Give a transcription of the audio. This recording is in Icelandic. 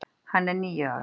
Hann er níu ára.